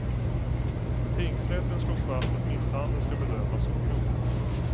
Tingsrätten slog fast att misshandeln ska bedömas som grov.